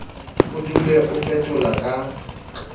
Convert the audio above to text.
o dule o fetola ka